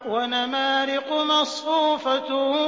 وَنَمَارِقُ مَصْفُوفَةٌ